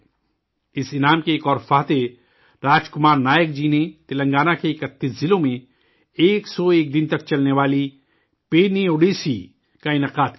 اس انعام کے ایک اور فاتح، راج کمار نائک جی نے تلنگانہ کے 31 ضلعوں میں، 101 دن تک چلنے والی پیرنی اوڈیسی کا اہتام کیا تھا